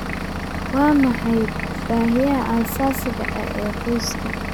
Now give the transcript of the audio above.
Waa maxay baahiyaha aasaasiga ah ee qoyska?